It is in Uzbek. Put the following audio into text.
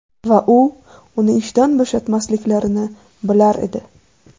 Va u uni ishdan bo‘shatmasliklarini bilar edi.